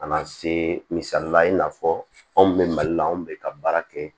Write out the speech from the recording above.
Ka na se misalila i n'a fɔ anw bɛ mali la anw bɛ ka baara kɛ